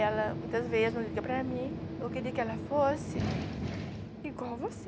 Ela muitas vezes não liga para mim, eu queria que ela fosse igual você.